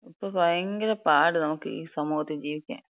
ഇപ്പൊ ഭയങ്കര പാട് നമുക്ക് ഈ സമൂഹത്തി ജീവിക്കാൻ.